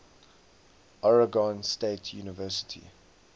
oregon state university